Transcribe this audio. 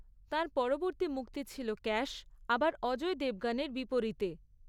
তাঁর পরবর্তী মুক্তি ছিল ক্যাশ, আবার অজয় ​​দেবগনের বিপরীতে।